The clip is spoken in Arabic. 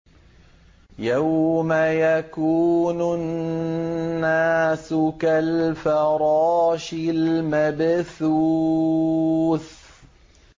يَوْمَ يَكُونُ النَّاسُ كَالْفَرَاشِ الْمَبْثُوثِ